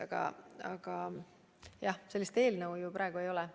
Ma kordan, et sellist eelnõu ju praegu ei ole.